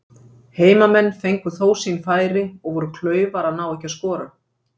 Heimamenn fengu þó sín færi og voru klaufar að ná ekki að skora.